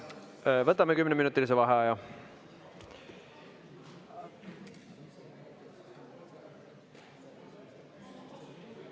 Võtame kümneminutilise vaheaja.